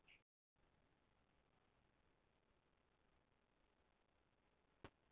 Þeir þurfa að fá meira útúr sóknarmönnum sínum, eins og fleiri lið í deildinni.